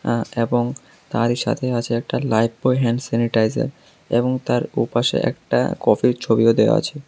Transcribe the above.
আ এবং তারই সাথে আছে একটা লাইকবয় হ্যান্ড স্যানিটাইজার এবং তার ওপাশে একটা কফি -ইর ছবিও দেওয়া আছে।